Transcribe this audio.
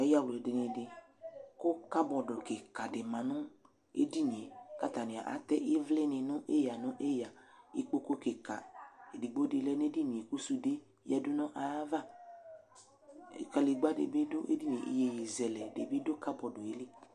Ayawladini dɩ kʋ kabɔdʋ kɩka dɩ ma nʋ edini yɛ kʋ atanɩ atɛ ɩvlɩnɩ nʋ eyǝ nʋ eyǝ Ikpoku kɩka edigbo dɩ lɛ nʋ edini yɛ kʋ sude yǝdu nʋ ayava Kadegbǝ dɩ bɩ dʋ edini yɛ, iyeyezɛlɛ dɩ bɩ dʋ kabɔdʋ yɛ li